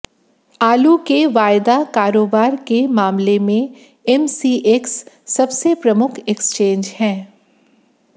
आलू के वायदा कारोबार के मामले में एमसीएक्स सबसे प्रमुख एक्सचेंज है